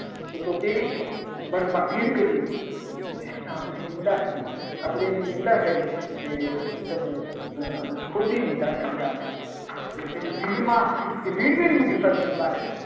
તું તો કેવી છો. સ્વર્ગમાં ભીડ કરી મૂકી લે. આ તો નિંદા થઈ આપણે એની નિંદા કરી કે તમે ખોટી નિંદા કરી. આપણે કે ભીડમાં કે ભીડ ભીડ મુકેશ સ્વર્ગને દ્વારે